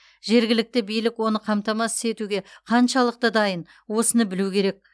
жергілікті билік оны қамтамасыз етуге қаншалықты дайын осыны білу керек